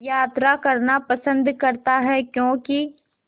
यात्रा करना पसंद करता है क्यों कि